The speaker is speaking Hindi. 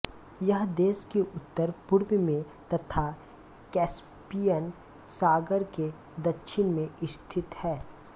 यह देश के उत्तर पूर्व में तथा कैस्पियन सागर के दक्षिण में स्थित है